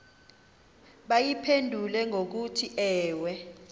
bayiphendule ngokuthi ewe